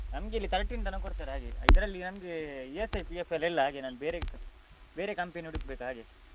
ನಮ್ಗಿಲ್ಲಿ thirteen ತನಕ ಕೊಡ್ತಾರೆ ಹಾಗೆ ಇದ್ರಲ್ಲಿ ನಮ್ಗೆ ESI, PF ಎಲ್ಲ ಇಲ್ಲ ಹಾಗೆ ನಾನು ಬೇರೆ ಬೇರೆ ca~ ಬೇರೆ company ಹುಡುಕ್ಬೇಕು ಹಾಗೆ ಅದಕ್ಕೆ try ಮಾಡ್ತಿದ್ದೆ.